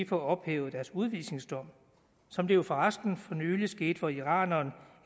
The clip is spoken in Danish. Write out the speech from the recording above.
få ophævet deres udvisningsdom som det jo for resten for nylig skete for iraneren